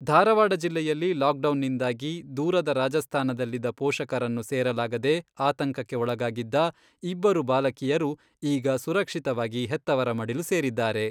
ಧಾರವಾಡ ಜಿಲ್ಲೆಯಲ್ಲಿ ಲಾಕ್ಡೌನ್ನಿಂದಾಗಿ ದೂರದ ರಾಜಸ್ತಾನದಲ್ಲಿದ್ದ ಪೋಷಕರನ್ನು ಸೇರಲಾಗದೆ ಆತಂಕಕ್ಕೆ ಒಳಗಾಗಿದ್ದ ಇಬ್ಬರು ಬಾಲಕಿಯರು ಈಗ ಸುರಕ್ಷಿತವಾಗಿ ಹೆತ್ತವರ ಮಡಿಲು ಸೇರಿದ್ದಾರೆ.